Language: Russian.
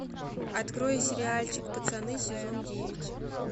открой сериальчик пацаны сезон девять